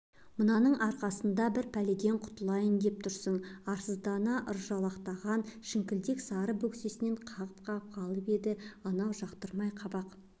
мынаның арқасында бір пәледен құтылайын деп тұрсың арсыздана ыржалақтаған шіңкілдек сары бөксесінен қағып-қағып қалып еді анау жақтырмай қабақ